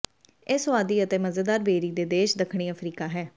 ਇਸ ਸੁਆਦੀ ਅਤੇ ਮਜ਼ੇਦਾਰ ਬੇਰੀ ਦੇ ਦੇਸ਼ ਦੱਖਣੀ ਅਫ਼ਰੀਕਾ ਹੈ